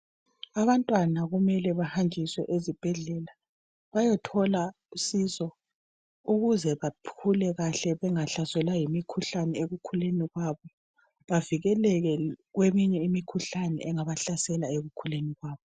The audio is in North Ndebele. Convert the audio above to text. Abantwana kumele bahanjiswe ezibhedlela bayethola usizo ukuze bakhule kahle bengahlaselwa yimikhuhlane ekukhuleni kwabo, bavikeleke kweminye imikhuhlane engabahlasela ekukhuleni kwabo.